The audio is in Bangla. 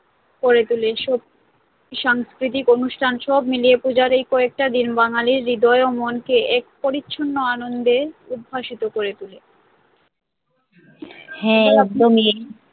করে তোলে সাংস্কৃতিক অনুষ্ঠান সব মিলিয়ে পুজোর এই কয়েকটা দিন বাঙালির হৃদয় ও মনকে এক পরিছন্ন আনন্দে উদ্ভাসিত করে তোলে